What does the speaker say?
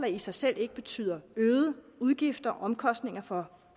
i sig selv betyder øgede udgifter og omkostninger for